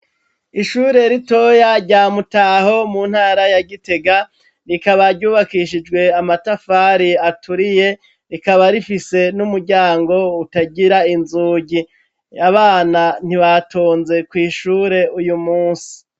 Ishure ritoya rya mutaho mu ntara ya gitega rikaba ryubakishijwe amatafari aturiye rikaba rifise n'umuryango utagira inzugi, abana ntibatonze kw'ishure uyu munsi.